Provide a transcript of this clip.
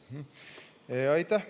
Aitäh!